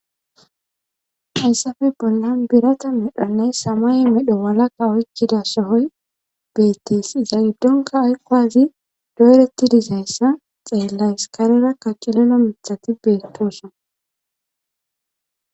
hayssafe bollan birata medhanay samay medho walaka oykkida sohoy beettes iza giddonka ayqowazi doyretti disayssa xeellays karera kaccileno mithati beettoson